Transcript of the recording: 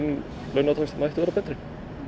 launataxti mætti vera betri